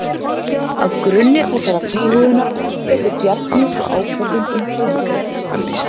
Á grunni þessarar íhugunar tekur Bjarni svo ákvörðun um tölvukaupin.